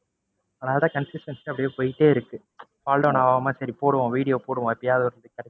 அதனால consistency ஆ அப்படியே போயிகிட்டே இருக்கு. fall down ஆகாம சரி போடுவோம், video போடுவோம்.